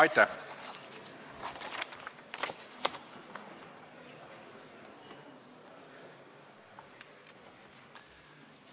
Aitäh!